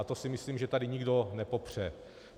A to si myslím, že tady nikdo nepopře.